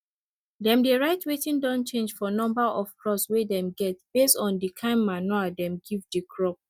dem dey write wetin don change for number of crop we dem get based on di kin manure dem give di crop